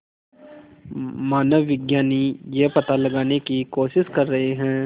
मानवविज्ञानी यह पता लगाने की कोशिश कर रहे हैं